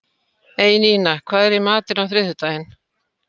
Einína, hvað er í matinn á þriðjudaginn?